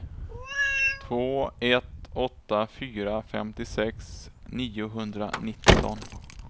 två ett åtta fyra femtiosex niohundranitton